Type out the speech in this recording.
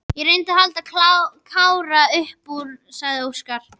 Ég reyndi að halda Kára upp úr, sagði Óskar.